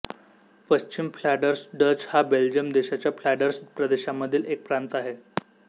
पश्चिम Flanders Dutch हा Belgium देशाच्या फ्लांडर्स प्रदेशामधील एक प्रांत आहे